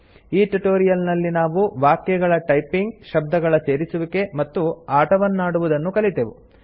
ಈ ಟ್ಯುಟೋರಿಯಲ್ ನಲ್ಲಿ ನಾವು ವಾಕ್ಯಗಳ ಟೈಪಿಂಗ್ ಶಬ್ದಗಳ ಸೇರಿಸುವಿಕೆ ಮತ್ತು ಆಟವನ್ನಾಡುವುದನ್ನು ಕಲಿತೆವು